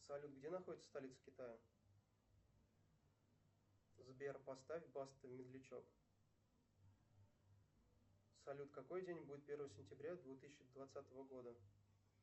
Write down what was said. салют где находится столица китая сбер поставь баста медлячок салют какой день будет первое сентября две тысячи двадцатого года